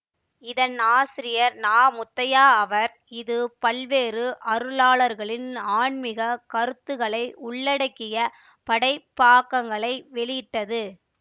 இதன் ஆசிரியர் நா முத்தையா ஆவர் இது பல்வேறு அருளாளர்களின் ஆன்மிகக் கருத்துகளை உள்ளடக்கிய படைப்பாக்கங்களை வெளியிட்டது